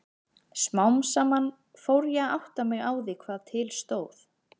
Smám saman fór ég að átta mig á því hvað til stóð.